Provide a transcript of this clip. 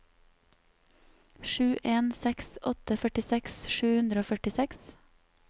sju en seks åtte førtiseks sju hundre og førtiseks